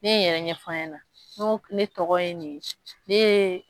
Ne ye n yɛrɛ ɲɛfɔ a ɲɛna ne tɔgɔ ye nin ye ne ye